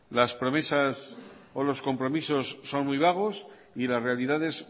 las promesas o los compromisos son muy vagos y las realidades